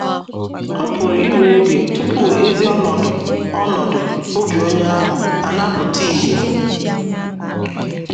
Ọ pụrụ iwe oge tupu ezi ọnọdụ ọnọdụ obi onye ahụ ana - apụta ìhè.